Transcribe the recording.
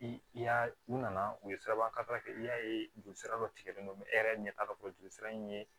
I y'a u nana u ye sirabakankala kɛ i y'a ye joli sira dɔ tigɛlen don e yɛrɛ ɲɛ t'a fɛ jolisira in ye